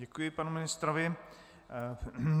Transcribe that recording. Děkuji panu ministrovi.